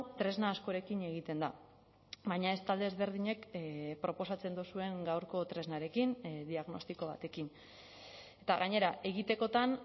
tresna askorekin egiten da baina ez talde ezberdinek proposatzen duzuen gaurko tresnarekin diagnostiko batekin eta gainera egitekotan